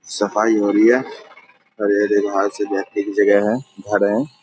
सफाई हो रही है हरे-हरे घास है बैठने की जगह है घर है।